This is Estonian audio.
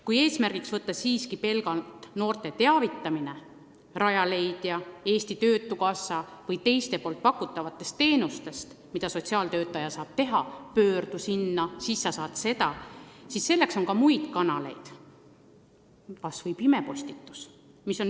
Kui eesmärgiks võtta pelgalt noorte teavitamine Rajaleidja, Eesti Töötukassa ja muudest teenustest – sotsiaaltöötaja saab ju soovitada, et pöördu sinna, siis sa saad seda –, siis selleks on ka muid kanaleid, kas või pimepostitus.